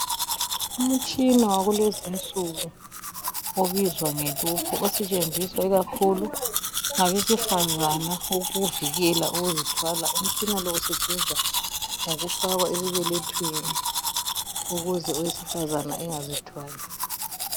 Umtshina wakulezi insuku obizwa ngeluphu osetshenziswa ngabesifazana ukuzivikela ukuzithwala. Umtshina lo usetshenzwa ngokufakwa esibelethweni ukuze owesifazana angazithwali.